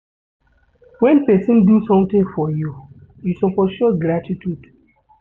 Wen pesin do sometin for you, you suppose show gratitude.